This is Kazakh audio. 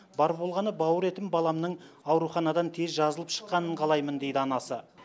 бар болғаны бауыр етім баламның ауруханадан тез жазылып шыққанын қалаймын дейді анасы